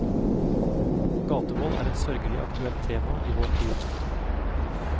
Gatevold er et sørgelig aktuelt tema i vår tid.